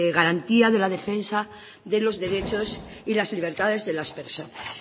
garantía de la defensa de los derechos y las libertades de las personas